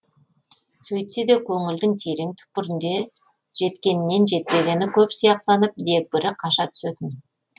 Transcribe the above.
сөйтсе де көңілдің терең түкпірінде жеткенінен жетпегені көп сияқтанып дегбірі қаша түсетін